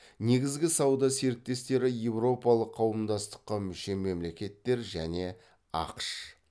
негізгі сауда серіктестері еуропалық қауымдастыққа мүше мемлекеттер және ақш